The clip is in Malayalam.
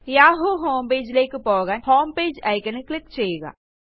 യാഹൂ homepageലേയ്ക്ക് പോകാൻ ഹോംപേജ് iconൽ ക്ലിക്ക് ചെയ്യുക